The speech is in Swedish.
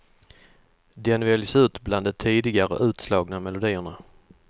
Den väljs ut bland de tidigare utslagna melodierna.